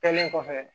Kɛlen kɔfɛ